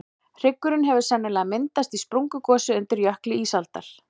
hryggurinn hefur sennilega myndast í sprungugosi undir jökli ísaldar